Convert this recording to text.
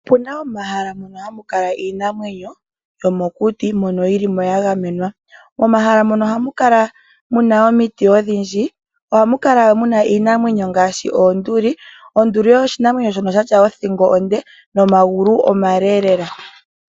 Opuna omahala ngono haga kala iinamwenyo yomokuti mono hayi kala mo ya gamenwa. Momahala mono ohamu kala muna omiti odhindji mo ohamu kala nee iinamwenyo ngaashi oonduli. Onduli osho oshinamwenyo shoka shina othingo onde nomagulu omale lela.